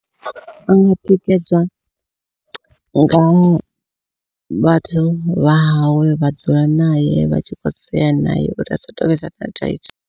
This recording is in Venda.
Vha nga tikedzwa nga vhathu vha hawe vha dzula nae vha tshi khou sea naye uri asa to vhesa na thaidzo.